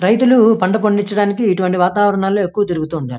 రైతులు పంట పండించడానికి ఇటు వంటి వాతావరణంలో ఎక్కువ తిరుగుతుంటారు.